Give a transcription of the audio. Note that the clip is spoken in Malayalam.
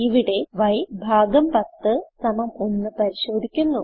ഇവിടെ y101 പരിശോധിക്കുന്നു